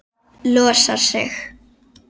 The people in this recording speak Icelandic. Losar sig.